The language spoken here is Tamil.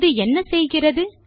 இது என்ன செய்கிறது